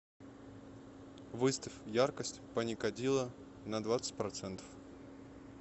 выставь яркость паникадило на двадцать процентов